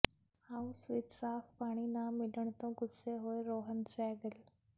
house ਵਿਚ ਸਾਫ ਪਾਣੀ ਨਾ ਮਿਲਣ ਤੋਂ ਗੁੱਸੇ ਹੋਏ ਰੋਹਨ ਸਹਿਗਲ